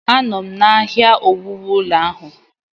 Anọ m n'ahịa ihe owuwu ụlọ ahụ.